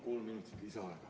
Palun kolm minutit lisaaega!